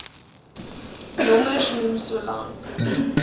nommers noem solank